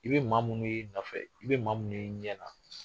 I bɛ maa minnu y'i nɔfɛ, i bɛ maa minnu y'i ɲɛ kan.